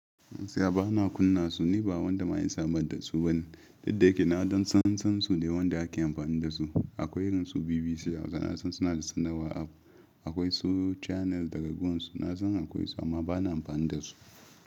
Gaskiya ba na kunna su ni ba wanda ma yin sabar da su bane. Daddayake na ɗon san san su da wanda ake amfani da su. Akwai irin su BBC Hausa na san suna da sanarwa app. Akwai su channels daga raguwan su na san akwai su amma ba na amfani da su.